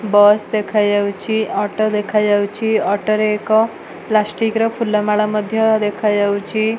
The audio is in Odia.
ବସ୍ ଦେଖାଯାଉଛି ଅଟୋ ଦେଖାଯାଉଛି ଅଟୋ ରେ ଏକ ପ୍ଲାଷ୍ଟିକ୍ ର ଫୁଲମାଳ ମଧ୍ଯ ଦେଖାଯାଉଛି।